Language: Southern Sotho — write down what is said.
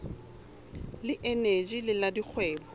le eneji le la dikgwebo